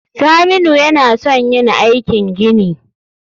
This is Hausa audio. Saminu yAna son yin aikin gini